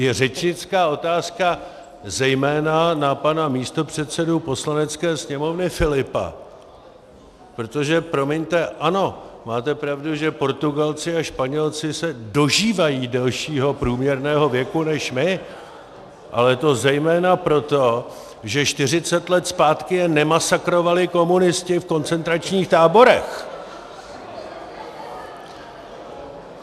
Je řečnická otázka zejména na pana místopředsedu Poslanecké sněmovny Filipa, protože promiňte, ano, máte pravdu, že Portugalci a Španělé se dožívají delšího průměrného věku než my, ale to zejména proto, že 40 let zpátky je nemasakrovali komunisti v koncentračních táborech!